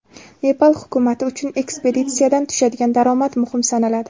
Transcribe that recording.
Nepal hukumati uchun ekspeditsiyadan tushadigan daromad muhim sanaladi.